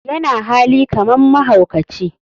yana hali kaman mahaukaci.